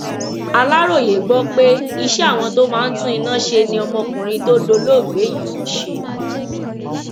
aláròye gbọ pé iṣẹ àwọn tó máa ń tún iná ṣe ni ọmọkùnrin tó dolóògbé yìí ń ṣe